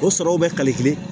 O sɔrɔw bɛ kali kelen